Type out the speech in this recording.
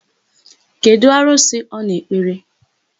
Kedụ arụsị ọ na-ekpere?